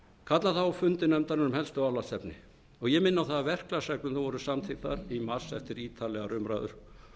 kalla þá á fundi nefndarinnar um helstu álags efni og ég minni á að verklagsreglurnar voru samþykktar í mars eftir ítarlegar umræður